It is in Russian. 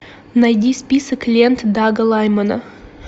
найди список лент дага лаймана